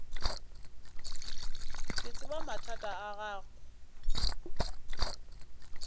ke tseba mathata a gago